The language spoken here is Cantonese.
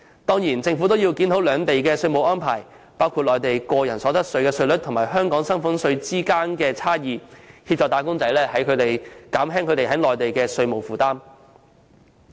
當然，政府也要檢討兩地的稅務安排，包括內地個人所得稅稅率與香港薪俸稅率之間的差異，協助"打工仔"減輕他們在內地的稅務負擔。